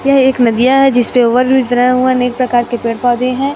यह एक नदियां है जिसपे ओवर ब्रिज बनाया हुआ है अनेक प्रकार के पेड़ पौधे हैं।